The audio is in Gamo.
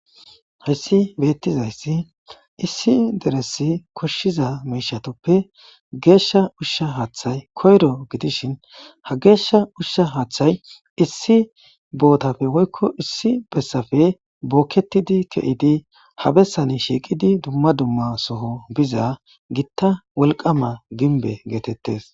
Hessi beettizayssi issi deresi koshshiza miishatoppe geeshsha ushsha haaththay koyro gidishin ha geeshsha ushsha haaththay issi bootafe woykko issi bessafe bookketidi ke7idi habessani shiiqidi dumma dumma soho biza gitta wolqama ginbe geetettes